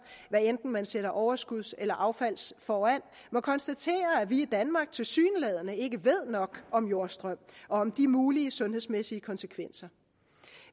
hvad enten man sætter overskuds eller affalds foran må konstatere at vi i danmark tilsyneladende ikke ved nok om jordstrøm og om de mulige sundhedsmæssige konsekvenser